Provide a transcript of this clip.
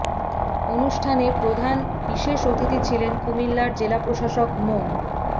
অনুষ্ঠানে প্রধান বিশেষ অতিথি ছিলেন কুমিল্লার জেলা প্রশাসক মো